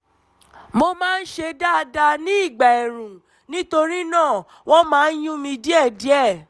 mo máa ń ṣe dáadáa ní ìgbà ẹ̀ẹ̀rùn nítorí náà wọ́n máa ń yún mí díẹ̀díẹ̀